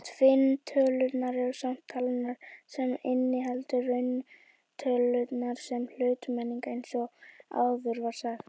Tvinntölurnar eru safn talna sem inniheldur rauntölurnar sem hlutmengi eins og áður var sagt.